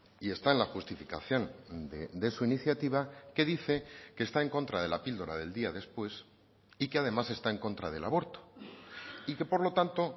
y está en la justificación de su iniciativa que dice que está en contra de la píldora del día después y que además está en contra del aborto y que por lo tanto